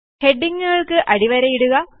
ഹെ ഡിംഗ്ങ്ങു കൾക് അടിവരയിടുക